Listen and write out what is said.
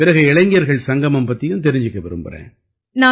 பிறகு இளைஞர்கள் சங்கமம் பத்தியும் தெரிஞ்சுக்க விரும்பறேன்